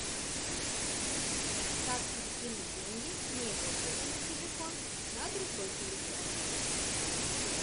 как перекинуть деньги с моего счета на телефон на другой телефон